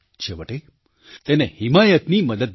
છેવટે તેને હિમાયતથી મદદ મળી